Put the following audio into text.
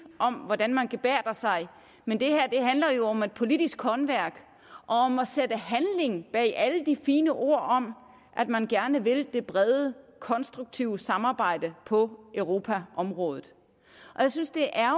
om hvordan man gebærder sig men det her handler jo om et politisk håndværk og om at sætte handling bag alle de fine ord om at man gerne vil det brede og konstruktive samarbejde på europaområdet jeg synes det er